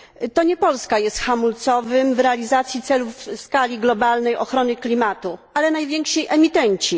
To nie Polska jest hamulcowym w realizacji celów w skali globalnej ochrony klimatu, ale najwięksi emitenci.